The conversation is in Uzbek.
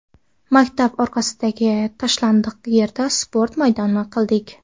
Maktab orqasidagi tashlandiq yerda sport maydoni qildik.